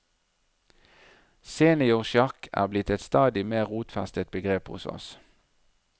Seniorsjakk er blitt et stadig mer rotfestet begrep hos oss.